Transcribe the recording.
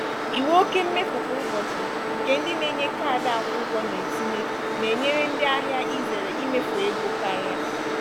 iwu oke mmefu kwa ụbọchị nke ndị na-enye kaadị akwụ ụgwọ na-etinye na-enyere ndị ahịa izere imefu ego karịa.